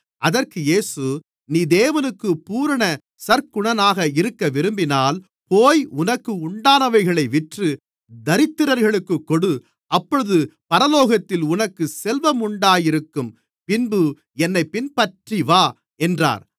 அதற்கு இயேசு நீ தேவனுக்கு பூரண சற்குணனாக இருக்கவிரும்பினால் போய் உனக்கு உண்டானவைகளை விற்று தரித்திரர்களுக்குக் கொடு அப்பொழுது பரலோகத்தில் உனக்குச் செல்வம் உண்டாயிருக்கும் பின்பு என்னைப் பின்பற்றிவா என்றார்